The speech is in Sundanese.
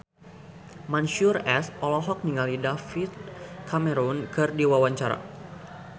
Mansyur S olohok ningali David Cameron keur diwawancara